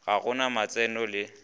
ga go na matseno le